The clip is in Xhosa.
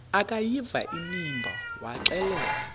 akuyiva inimba waxelela